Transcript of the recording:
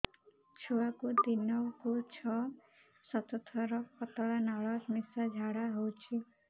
ଛୁଆକୁ ଦିନକୁ ଛଅ ସାତ ଥର ପତଳା ନାଳ ମିଶା ଝାଡ଼ା ହଉଚି